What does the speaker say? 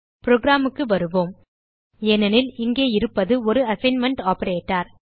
programக்கு வருவோம் ஏனெனில் இங்கே இருப்பது ஒரு அசைன்மென்ட் ஆப்பரேட்டர்